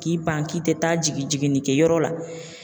K'i ban k'i tɛ taa jigin jiginnikɛyɔrɔ la